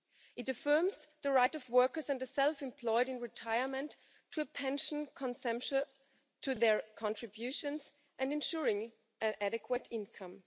It affirms the right of workers and the self employed in retirement to a pension which commensurate with their contributions and ensuring an adequate income.